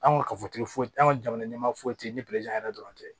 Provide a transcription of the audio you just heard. An ka kafotigiw tɛ an ka jamana ɲɛma foyi tɛ ni yɛrɛ dɔrɔn tɛ